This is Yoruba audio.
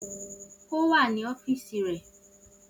O wa ni ọfiisi rẹ.